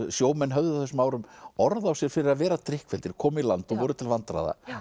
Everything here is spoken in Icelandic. sjómenn höfðu á þessum árum orð á sér fyrir að vera komu í land og voru til vandræða